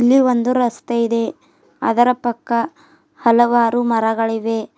ಇಲ್ಲಿ ಒಂದು ರಸ್ತೆ ಇದೆ ಅದರ ಪಕ್ಕ ಹಲವಾರು ಮರಗಳಿವೆ.